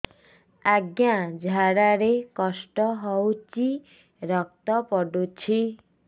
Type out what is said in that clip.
ଅଜ୍ଞା ଝାଡା ରେ କଷ୍ଟ ହଉଚି ରକ୍ତ ପଡୁଛି